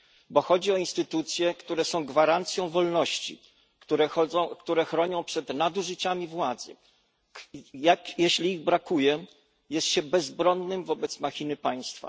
Bo chodzi o instytucje, które są gwarancją wolności, które chronią przed nadużyciami władzy, i jeśli ich brakuje, jest się bezbronnym wobec machiny państwa.